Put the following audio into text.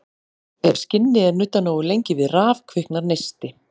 Ef skinni er nuddað nógu lengi við raf kviknar neisti.